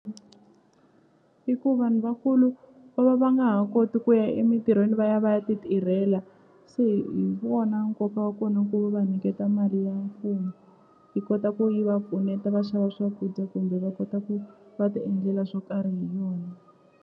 I ku vanhu vakulu va va va nga ha koti ku ya emintirhweni va ya va ya ti tirhela se hi wona nkoka wa kona ku va niketa mali ya mfumo yi kota ku yi va pfuneta va xava swakudya kumbe va kota ku va ti endlela swo karhi hi yona.